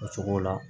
O cogo la